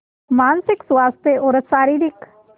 मानसिक स्वास्थ्य और शारीरिक स्